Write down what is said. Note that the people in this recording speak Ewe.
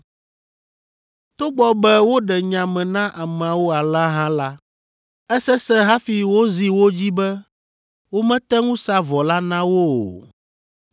Togbɔ be woɖe nya me na ameawo alea hã la, esesẽ hafi wozi wo dzi be womete ŋu sa vɔ la na wo o.